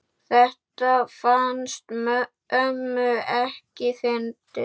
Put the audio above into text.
Þetta fannst ömmu ekki fyndið.